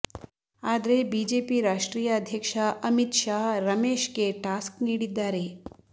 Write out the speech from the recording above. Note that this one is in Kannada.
ಆದ್ರೆ ಬಿಜೆಪಿ ರಾಷ್ಟ್ರೀಯ ಅಧ್ಯಕ್ಷ ಅಮಿತ್ ಶಾ ರಮೇಶ್ಗೆ ಟಾಸ್ಕ್ ನೀಡಿದ್ದಾರೆ